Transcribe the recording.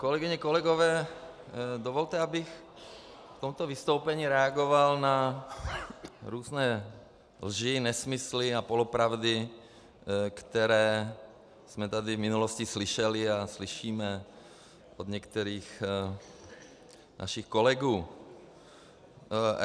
Kolegyně, kolegové, dovolte, abych v tomto vystoupení reagoval na různé lži, nesmysly a polopravdy, které jsme tady v minulosti slyšeli a slyšíme od některých našich kolegů.